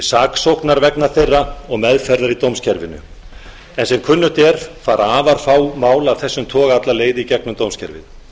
saksóknar vegna þeirra og meðferðar í dómskerfinu sem kunnugt er fara afar fá mál af þessum toga alla leið í gegnum dómskerfið